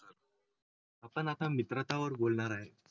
पण आता मित्रांचा वर बोलणार आहे.